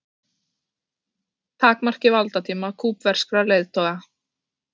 Takmarki valdatíma kúbverskra leiðtoga